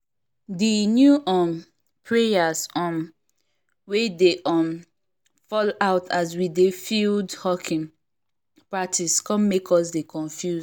the new um payers um wey dey um fall out as we dey field hockey practice come make us dey confuse